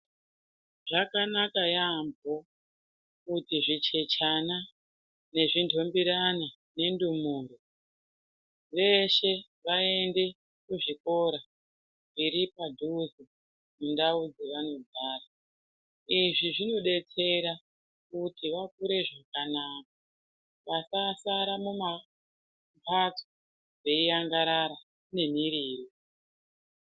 Zvakanaka yaambo kuti zvichechana nezvi ntumbirane nendumure veshe vaende kuzvikora zviri padhuze mundau dzevanogara. Izvi zvinodetsera kuti vakure zvakanaka vasasara mumbatso veiangarata nemiriro.